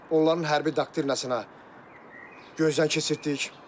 Onların hərbi doktrinasına gözdən keçirtdik.